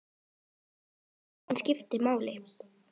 Hún skiptir máli.